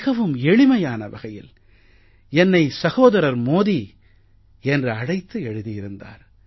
மிகவும் எளிமையான வகையில் என்னை சகோதரர் மோதி என்று அழைத்து எழுதியிருந்தார்